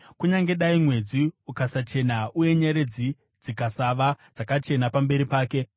Kunyange dai mwedzi ukasachena, uye nyeredzi dzikasava dzakachena pamberi pake,